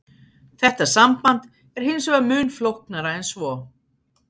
Þetta samband er hins vegar mun flóknara en svo.